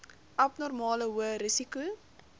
abnormale hoë risiko